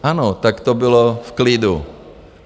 Ano, tak to bylo v klidu.